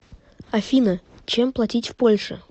афина чем платить в польше